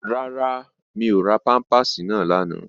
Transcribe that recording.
Rárá, mi ò ra pámpàsì náà lánàá